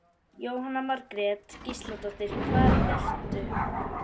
Jóhanna Margrét Gísladóttir: Hvað ert þú?